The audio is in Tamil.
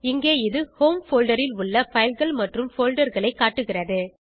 இங்கே இது ஹோம் போல்டர் ல் உள்ள fileகள் மற்றும் folderகளை காட்டுகிறது